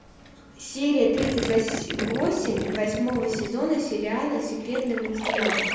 серия тридцать восемь восьмого сезона сериала секретные материалы